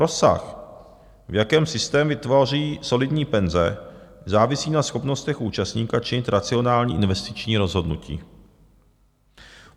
Rozsah, v jakém systémy tvoří solidní penze, závisí na schopnostech účastníka činit racionální investiční rozhodnutí.